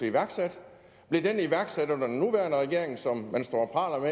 iværksat blev den iværksat under den nuværende regering som man står og